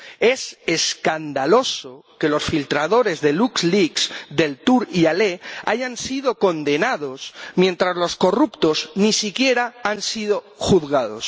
Es escandaloso que los filtradores de LuxLeaks Deltour y Halet, hayan sido condenados, mientras los corruptos ni siquiera han sido juzgados.